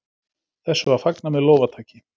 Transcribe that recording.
Þessu var fagnað með lófataki.